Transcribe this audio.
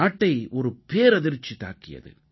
நாட்டை ஒரு பேரதிர்ச்சி தாக்கியது